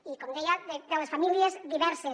i com deia de les famílies diverses